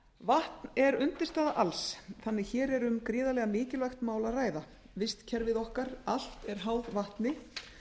vatn er undirstaða alls þannig að hér er um gríðarlega mikilvægt mál að ræða vistkerfi okkar allt er háð vatni